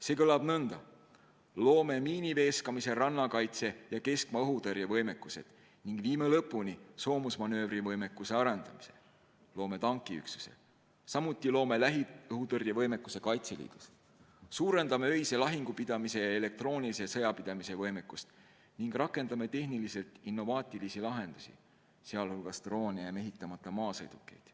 See kõlab nõnda: loome miiniveeskamise, rannakaitse ja keskmaa-õhutõrje võimekuse ning viime lõpuni soomusmanöövri võimekuse arendamise, loome tankiüksuse, samuti lähiõhutõrje võimekuse Kaitseliidus, suurendame öise lahingu pidamise ja elektroonilise sõja pidamise võimekust ning rakendame tehniliselt innovaatilisi lahendusi, sealhulgas droone ja mehitamata maasõidukeid.